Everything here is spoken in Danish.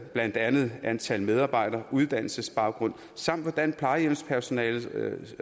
blandt andet antal medarbejdere og deres uddannelsesbaggrund samt hvordan plejehjemspersonalets